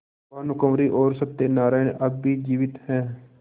भानुकुँवरि और सत्य नारायण अब भी जीवित हैं